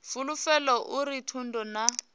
fulufhelo a uri thundu na